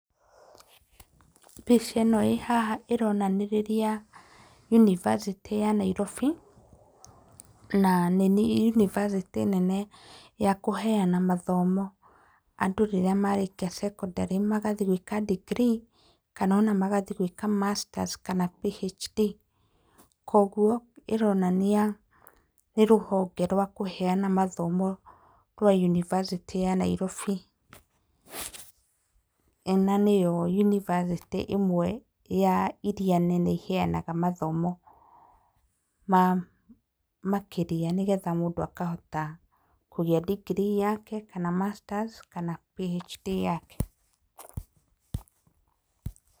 Mbica ĩno ĩ haha ĩronanĩrĩria yunibacĩtĩ ya Nairobi, na nĩ yunibacĩtĩ nene ya kũheana mathomo andũ rĩrĩa marĩkia cekondarĩ, magathi gwĩka ndingirii kana ona magathi gwĩka masters kana PhD. Koguo ĩronania nĩ rũhonge rwa kũheana mathomo rwa yunibacĩtĩ ya Nairobi, na nĩyo yunibacĩtĩ ĩmwe ya iria nene iheanaga mathomo makĩrĩa, nĩgetha mũndũ akahota kũgĩa ndingirii, kana masters, kana PhD yake.